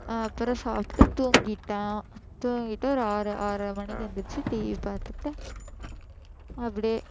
அப்புறம் சாப்பிட்டு தூங்கிட்டேன் தூங்கிட்டு ஒரு ஆறு ஆறரை மணிக்கு எந்திரிச்சு TV பார்த்துட்டு அப்படியே